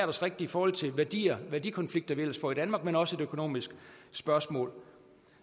os rigtigt i forhold til værdier værdikonflikter vi ellers får i danmark men er også et økonomisk spørgsmål